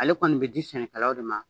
Ale kɔni bɛ di sɛnɛkɛlaw de ma